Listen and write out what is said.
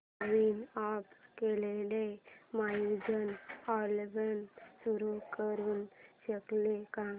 नवीन add केलेला music album सुरू करू शकशील का